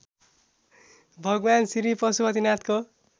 भगवान् श्री पशुपतिनाथको